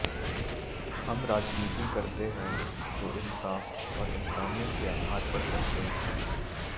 हम राजनीति करते हैं तो इंसाफ और इंसानियत के आधार पर करते हैं